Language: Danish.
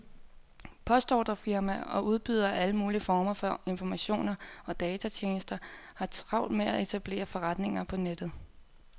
Postordrefirmaer og udbydere af alle mulige former for informationer og datatjenester har travlt med at etablere forretninger på nettet.